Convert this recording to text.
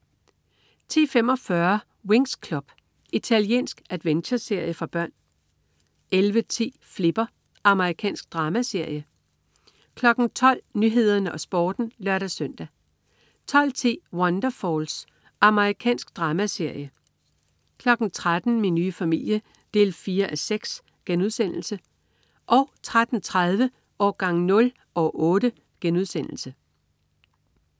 10.45 Winx Club. Italiensk adventureserie for børn 11.10 Flipper. Amerikansk dramaserie 12.00 Nyhederne og Sporten (lør-søn) 12.10 Wonderfalls. Amerikansk dramaserie 13.00 Min nye familie 4:6* 13.30 Årgang 0, år 8*